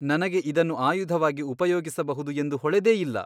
ನನಗೆ ಇದನ್ನು ಆಯುಧವಾಗಿ ಉಪಯೋಗಿಸಬಹುದು ಎಂದು ಹೊಳೆದೇ ಇಲ್ಲ.